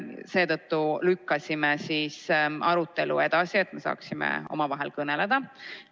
Seetõttu lükkasime arutelu edasi, et me saaksime omavahel sellest kõneleda.